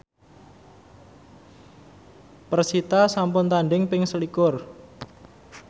persita sampun tandhing ping selikur